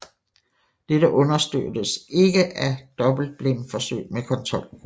Dette understøttes ikke af dobbeltblindforsøg med kontrolgruppe